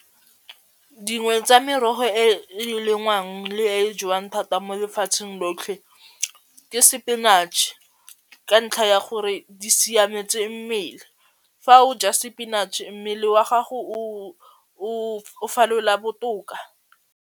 Dingwe tsa merogo e e lengwang le e e jewang thata mo lefatsheng lotlhe ke sepinatšhe ka ntlha ya gore di siametse mmele fa o ja sepinatšhe mmele wa gago o falola botoka.